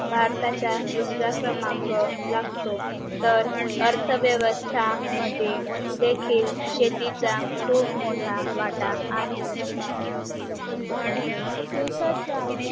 भारताचा दुसरा क्रमांक लागतो तेर अर्थ व्यवस्था मद्ये देखील शेतीचा खूप मोठा वाट आहे देशाचा